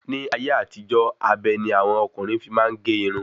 Ní ayé àtijó, abe ni àwọn ọkùnrin fi máa n ge irun